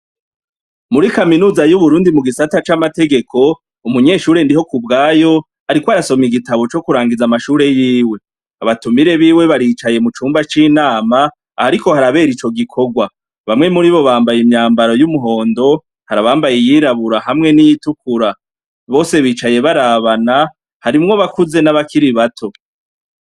Muri kaminuza y'Uburundi mu gisata c'amategeko, umunyeshure Ndihokubwayo, ariko arasoma igitabo co kurangiza amashure yiwe. Abatumire biwe baricaye mucumba c'inama ahariko harabera ico gikorwa. Bamwe muribo bambaye imyambaro y'umuhondo, harabambaye iyirabura hamwe n'iyitukura . Bose bicaye barabana , harimwo abakuze n'abakiri bato.